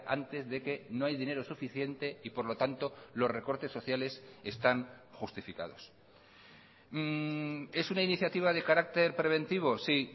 antes de que no hay dinero suficiente y por lo tanto los recortes sociales están justificados es una iniciativa de carácter preventivo sí